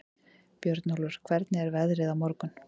Björnólfur, hvernig er veðrið á morgun?